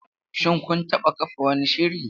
Shin kun taɓa kafa wani shiri?